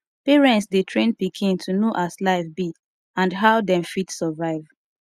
parents de train pikin to know as life be and how dem fit survive